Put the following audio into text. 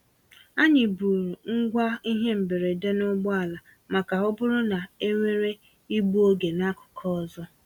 Anyị buuru ngwa ihe mberede n'ụgbọ ala maka ọ bụrụ na e nwere igbu oge n'akụkụ ụzọ.